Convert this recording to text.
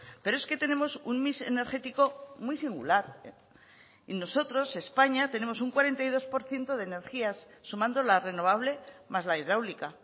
pero es que tenemos un mix energético muy singular y nosotros españa tenemos un cuarenta y dos por ciento de energías sumando la renovable más la hidráulica